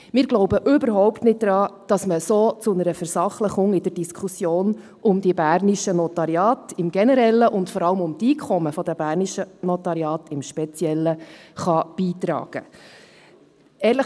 – Wir glauben überhaupt nicht daran, dass man so zu einer Versachlichung in der Diskussion um die bernischen Notariate im Generellen und vor allem um die Einkommen in den bernischen Notariaten im Speziellen beitragen kann.